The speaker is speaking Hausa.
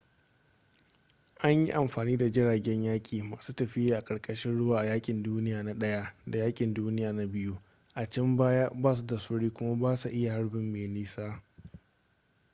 an yi amfani da jiragen yaƙi masu tafiya a ƙarƙashin ruwa a yaƙin duniya na i da yaƙin duniya na ii a can baya ba su da sauri kuma ba su iya harbi mai nisa